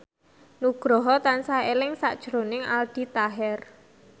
Nugroho tansah eling sakjroning Aldi Taher